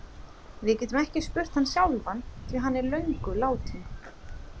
Við getum ekki spurt hann sjálfan því hann er löngu látinn.